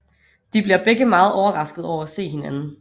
De bliver begge meget overrasket over at se hinanden